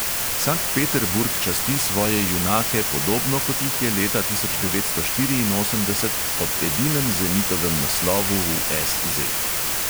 Sankt peterburg časti svoje junake, podobno kot jih je leta tisoč devetsto štiriinosemdeset ob edinem zenitovem naslovu v SZ.